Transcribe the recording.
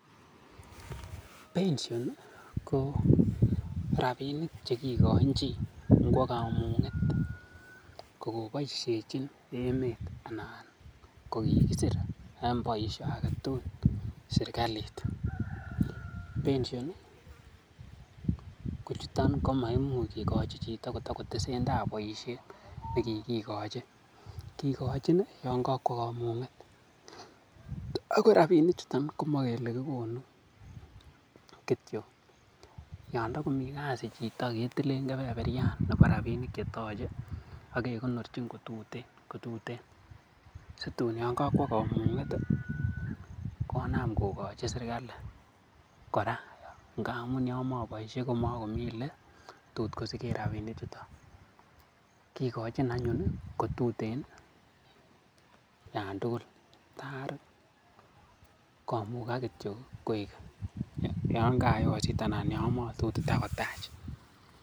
Pension ko rabinik che kigoin chi nkwo komung'et kogoboishejin emet anan kokigisir en boisho age tugul serkalit. Pension ko chutam komaimuch kigochi chito kotogotesentai boisiet ne kigigochi. Kigochin yon kokwo komung'et ago rabinik chuton chu komokele kigonu kityo, yon togomi kasi chiton ketilen kebeberyan nebo rabinik che toche ak kekonorchin kotuten situn yon kokwo komung'et konam kogochi serkalit kora ngamun yon moboishe komomi ele tot kosigen rabinik chuto. Kigochin anyun ko tuten yan tugul ta komugak kityo yan kayosit anan yo motot itakotach